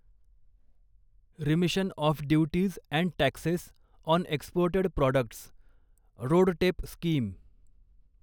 remission of duties and taxes on exported products RoDTEP scheme